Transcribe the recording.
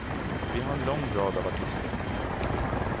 Vi har en lång rad av artister.